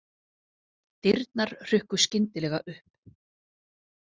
Dyrnar hrukku skyndilega upp.